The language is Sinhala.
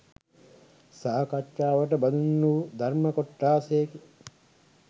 සාකච්ඡාවට බඳුන් වූ ධර්ම කොට්ඨාශයකි.